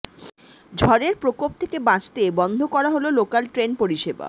ঝড়ের প্রকোপ থেকে বাঁচতে বন্ধ করা হল লোকাল ট্রেন পরিষেবা